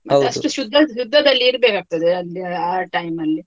ಶುದ್ದ ಶುದ್ದದ್ದಲ್ಲಿ ಇರ್ಬೇಕಗ್ತದೇ ಅದ್ ಆ time ಅಲ್ಲಿ.